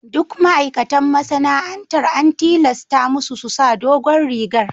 Duk ma'aikatan masana'antar an tilasta musu su sa dogon rigar.